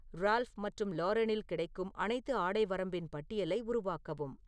Ralph மற்றும் லாரெனில் கிடைக்கும் அனைத்து ஆடை வரம்பின் பட்டியலை உருவாக்கவும்